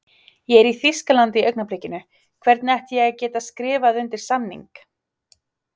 Ég er í Þýskalandi í augnablikinu, hvernig ætti ég að geta skrifað undir samning?